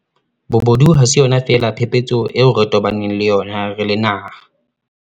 Bobodu ha se yona feela phephetso eo re tobaneng le yona re le naha.